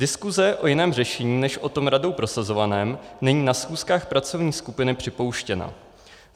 Diskuse o jiném řešení než o tom radou prosazovaném není na schůzkách pracovní skupiny připouštěna.